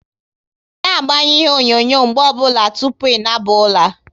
Na agbanyu ihe onyonyo mgbe ọ bụla tụpụ ị naba ula!